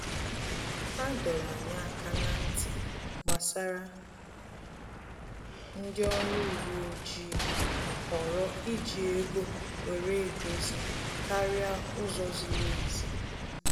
Ha dọrọ anyị aka na-ntị gbasara ndị ọrụ uwe ojii họọrọ iji ego were edozi karịa ụzọ ziri ezi